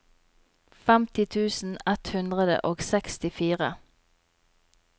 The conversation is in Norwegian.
femti tusen ett hundre og sekstifire